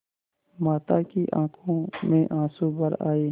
माता की आँखों में आँसू भर आये